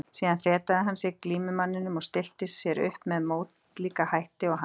Síðan fetaði hann sig að glímumanninum og stillti sér upp með mótlíka hætti og hann.